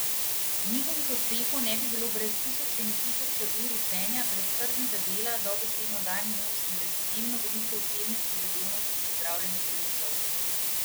Njihovih uspehov ne bi bilo brez tisoče in tisoče ur učenja, brez trdega dela dobesedno dan in noč in brez izjemno velike osebne prizadevnosti za zdravljenje bolnikov.